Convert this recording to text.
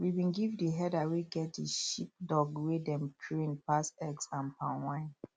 we been give the herder wey get the sheepdog wey dem train pass eggs and palm wine